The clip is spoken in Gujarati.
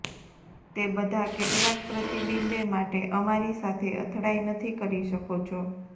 તે બધા કેટલાક પ્રતિબિંબે માટે અમારી સાથે અથડાઈ નથી કરી શકો છો